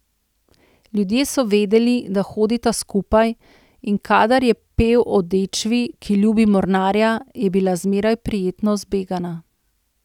Ljudje so vedeli, da hodita skupaj, in kadar je pel o dečvi, ki ljubi mornarja, je bila zmeraj prijetno zbegana.